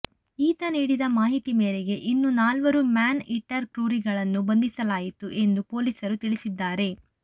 ಈತ ನೀಡಿದ ಮಾಹಿತಿ ಮೇರೆಗೆ ಇನ್ನೂ ನಾಲ್ವರು ಮ್ಯಾನ್ ಈಟರ್ ಕ್ರೂರಿಗಳನ್ನು ಬಂಧಿಸಲಾಯಿತು ಎಂದು ಪೊಲೀಸರು ತಿಳಿಸಿದ್ದಾರೆ